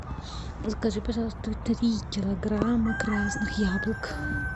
закажи пожалуйста три килограмма красных яблок